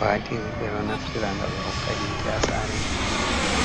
batiri be do naftira nga be hokka hite asare,